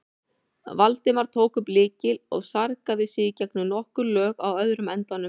Valdimar tók upp lykil og sargaði sig gegnum nokkur lög á öðrum endanum.